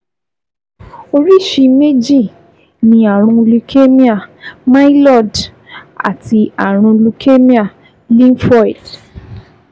Oríṣi méjì ni ààrùn leukemia myeloid àti ààrùn leukemia lymphoid